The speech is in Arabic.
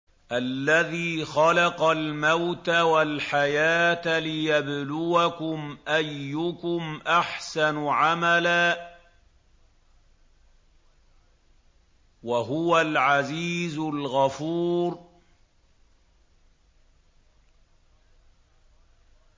الَّذِي خَلَقَ الْمَوْتَ وَالْحَيَاةَ لِيَبْلُوَكُمْ أَيُّكُمْ أَحْسَنُ عَمَلًا ۚ وَهُوَ الْعَزِيزُ الْغَفُورُ